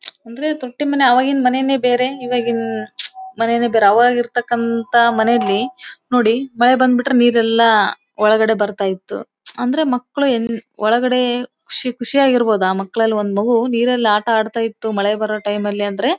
ಅಂದ್ರೆ ತೊಟ್ಟೆ ಮನೆ ಅವಾಗಿಂ ಮನೆನೇ ಬೇರೆ ಇವಗಿನ್ ಮನೆನೇ ಬೇರೆ ಅವಗಿರ್ತಾಕ್ಕಂತ ಮನೆಯಲ್ಲಿ ನೋಡಿ ಮಳೆ ಬಂದ್ಬಿಟ್ರೆ ನೀರೆಲ್ಲ ಒಳಗಡೆ ಬರ್ತಾ ಇತ್ತು ಅಂದ್ರೆ ಮಕ್ಕಳು ಒಳಗಡೆ ಖುಷಿಯಾಗಿ ಇರ್ಬಹುದು ಒಂದ್ ಮಕ್ಕಳು ಒಂದ್ ಮಗು ನೀರಲ್ಲಿ ಆಟ ಅಡ್ತ ಇತ್ತು ಮಳೆ ಬಾರೋ ಟೈಮ್ ಅಲ್ಲಿ ಅಂದ್ರೆ --